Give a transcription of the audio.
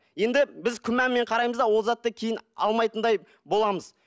енді біз күмәнмен қараймыз да ол затты кейін алмайтындай боламыз